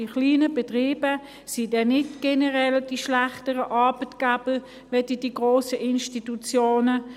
Die kleinen Betriebe sind nicht generell die schlechteren Arbeitgeber als die grossen Institutionen.